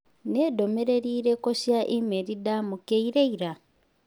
Nĩ ndũmĩrĩri irĩkũ cia e-mail ndamũkĩire ira?